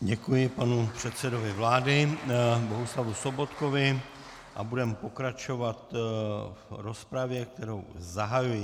Děkuji panu předsedovi vlády Bohuslavu Sobotkovi a budeme pokračovat v rozpravě, kterou zahajuji.